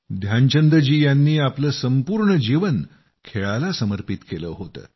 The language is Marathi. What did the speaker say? ध्यानचंद जीं नी आपलं संपूर्ण जीवन खेळाला समर्पित केलं होतं